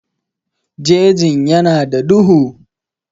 Jejin ya na da duhu